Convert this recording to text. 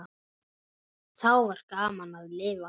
Þá var gaman að lifa.